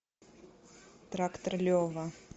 трактор лева